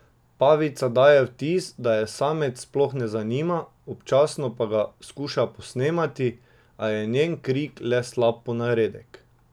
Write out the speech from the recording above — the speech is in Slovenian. Pavica daje vtis, da je samec sploh ne zanima, občasno pa ga skuša posnemati, a je njen krik le slab ponaredek.